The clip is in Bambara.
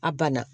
A banna